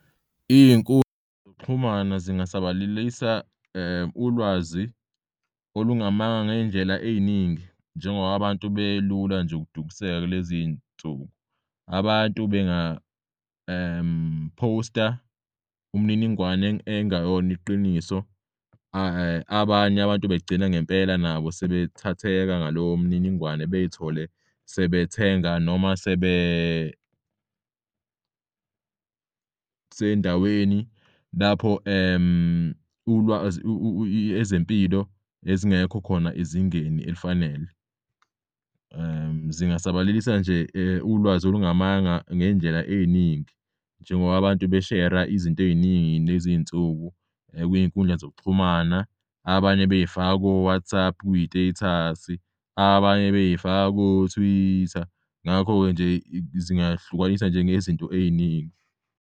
Iy'nkundla zokuxhumana zingasabalalisa ulwazi olungamanga ngey'ndlela ey'ningi njengoba abantu belula nje ukudukiseka kuleziy'nsuku. Abantu bengaphosta umniningwane engayona iqiniso abanye abantu begcina ngempela nabo sebethatheka ngaloyo mininingwane bey'thole sebethenga noma sendaweni lapho ezempilo ezingekho khona ezingeni elifanele. Zingasabalalisa nje ulwazi olungamanga ngey'ndlela ey'ningi njengoba abantu beshera izinto ey'ningi kulezinsuku kwiy'nkundla zokuxhumana abanye bey'faka ko-WhatsApp, kwi-status, abanye bey'faka ko-Twitter. Ngakho-ke nje zingahlukaniswa njengezinto ey'ningi.